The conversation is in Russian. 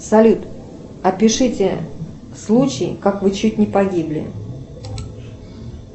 салют опишите случай как вы чуть не погибли